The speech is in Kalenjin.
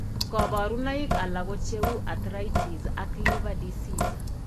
kabarunaik alak ko cheuu arthritis ak liver disease